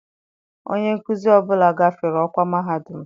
Onye nkuzi ọ bụla gafere ọkwa mahadum.